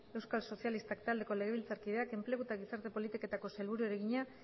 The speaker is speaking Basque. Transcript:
euskal sozialistak taldeko legebiltzarkideak enplegu eta gizarte politiketako sailburuari egina